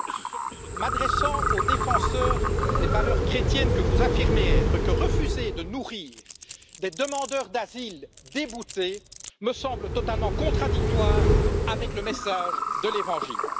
J'ajoute, m'adressant au défenseur des valeurs chrétiennes que vous affirmez être, que refuser de nourrir des demandeurs d'asile déboutés me semble totalement contradictoire avec le message de l'Évangile.